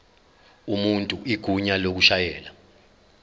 umuntu igunya lokushayela